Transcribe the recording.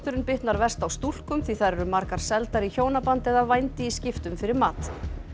bitnar verst á stúlkum því þær eru margar seldar í hjónaband eða vændi í skiptum fyrir mat